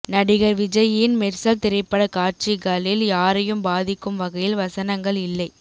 நடிகர் விஜயின் மெர்சல் திரைப்பட காட்சிகளில் யாரையும் பாதிக்கும் வகையில் வசனங்கள் இல்லை